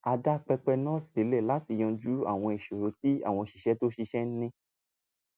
a dá pẹpẹ náà sílẹ̀ láti yanjú àwọn ìṣòro tí àwọn òṣìṣẹ́ tó ń ṣiṣẹ́ ní